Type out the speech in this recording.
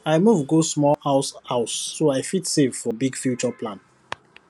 i move go small house house so i fit save for big future plan